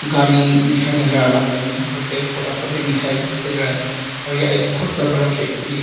गाड़ी भी दिखाई मिल रहा है पेड़ पौधा सब भी दिखाई मिल रहे हैं और यह बहुत सा बड़ा फैक्ट्री है।